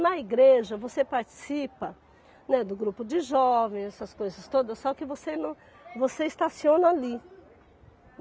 Na igreja você participa, né, do grupo de jovens, essas coisas todas, só que você nã, você estaciona ali.